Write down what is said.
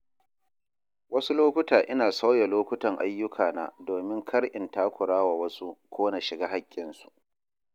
Wasu lokuta ina sauya lokutan ayyukana domin kar in takura wa wasu ko na shiga haƙƙinsu.